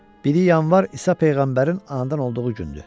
Biri yanvar İsa peyğəmbərin anadan olduğu gündür.